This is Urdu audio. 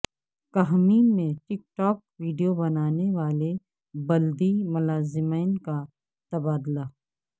کھمم میں ٹک ٹاک ویڈیو بنانے والے بلدی ملازمین کا تبادلہ